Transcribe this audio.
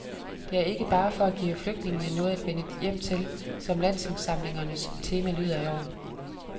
Det er ikke bare for at give flygtningene noget at vende hjem til, som landsindsamlingens tema lyder i år.